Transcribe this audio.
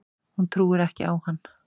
Hún trúir ekki á hann.